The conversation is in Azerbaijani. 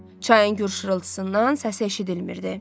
Çayın gur şırıltısından səsi eşidilmirdi.